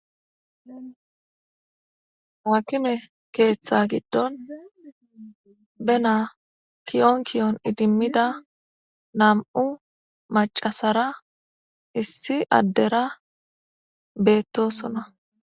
Haakime keeththaa giddon benaa kiyon kiyon idimmida nam7u maccasara issi addera beeththoosona.